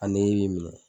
A nege b'i minɛ